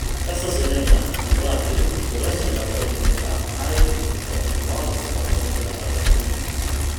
Caster Semenya:itua rĩa cira gatagataĩ-inĩ ka IAAF wahota kũruta mwerekera harĩ ateng’eri angĩ